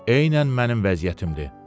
Eynən mənim vəziyyətimdir.